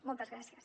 moltes gràcies